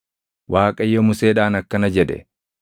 Waaqayyo Museedhaan akkana jedhe;